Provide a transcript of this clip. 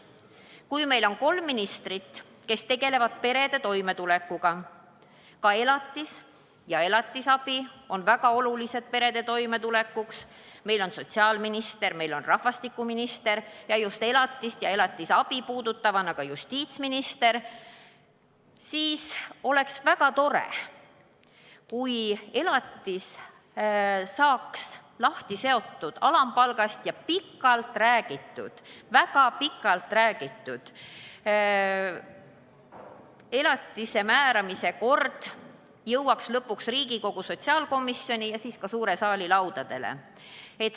Kui meil on kolm ministrit, kes tegelevad perede toimetulekuga, ka elatis ja elatisabi on väga olulised perede toimetulekuks, meil on sotsiaalminister, meil on rahvastikuminister ja just elatist ja elatisabi puudutavana ka justiitsminister, siis oleks väga tore, kui elatis saaks lahti seotud alampalgast ning väga pikalt räägitud elatise määramise kord jõuaks lõpuks Riigikogu sotsiaalkomisjoni ja seejärel ka suure saali laudadele.